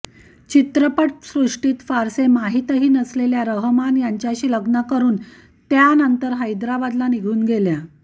चित्रपटसृष्टीत फारसे माहितही नसलेल्या रहमान यांच्याशी लग्न करून त्या नंतर हैदराबादला निघूनही गेल्या